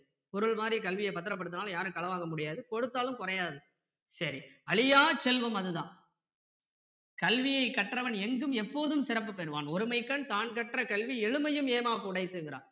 குறள் மாதிரி கல்வியை பத்தரப்படுத்தினாலும் யாரும் களவாங்கவும் முடியாது கொடுத்தாலும் குறையாது சரி அழியாச் செல்வம் அது தான் கல்வியை கற்றவன் எங்கும் எபோதும் சிறப்பு பெறுவான் ஒருமைக்கண் தான்கற்ற கல்வி எழுமையும் ஏமாப் புடைத்துங்கறான்